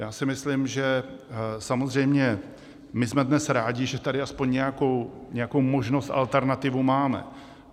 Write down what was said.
Já si myslím, že samozřejmě my jsme dnes rádi, že tady aspoň nějakou možnost, alternativu máme.